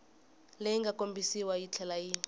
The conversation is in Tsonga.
leyi nga kombisiwa yitlhela yi